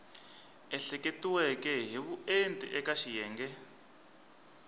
ehleketiweke hi vuenti eka xiyenge